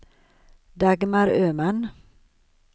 Dagmar Öhman